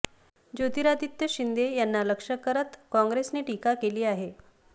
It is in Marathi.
ज्योतिरादित्य शिंदे यांना लक्ष करत काँग्रेसने टीका केली आहे